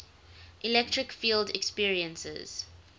electric field experiences